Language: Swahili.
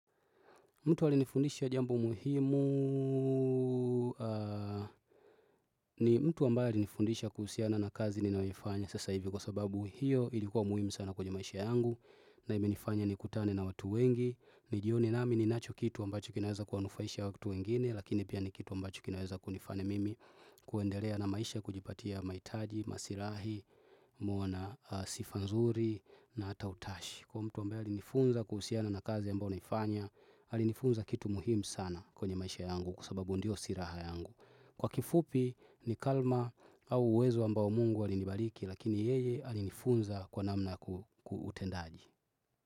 Mtu alinifundisha jambo muhimu. Ni mtu ambaye alinifundisha kuhusiana na kazi ninayoifanya sasa hivi kwa sababu hiyo ilikuwa muhimu sana kwenye maisha yangu na imenifanya nikutane na watu wengi. Ili jioni nami ninacho kitu wambacho kinaweza kuwanufaisha watu wengine lakini pia ni kitu ambacho kinaweza kunifanya mimi kuendelea na maisha kujipatia mahitaji, masirahi, muoana sifa nzuri na hata utashi. Kwa mtu ambae alinifunza kuhusiana na kazi ya ambayo naifanya aalinifunza kitu muhimu sana kwenye maisha yangu kwa sababu ndio silaha yangu. Kwa kifupi ni karma au uwezo ambao mungu alinibariki Lakini yeye alinifunza kwa namna kutendaaji.